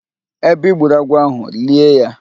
Ebe I gburu agwọ ahụ, lie ya